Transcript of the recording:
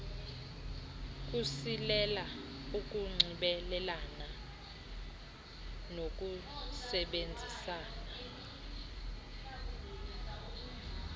kusilela ukunxibelelana nokusebenzisana